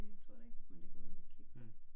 Næh jeg tror det ikke men det kunne jeg lige kigge på